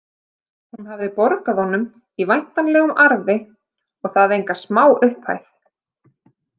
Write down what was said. Hún hafði borgað honum í væntanlegum arfi og það enga smá upphæð.